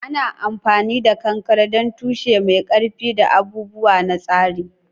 Ana amfani da kankare don tushe mai ƙarfi da abubuwa na tsari.